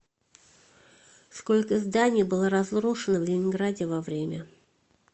сколько зданий было разрушено в ленинграде во время